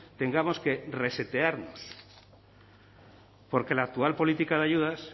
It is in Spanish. tengamos que resetearnos porque la actual política de ayudas